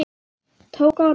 Tók á rás.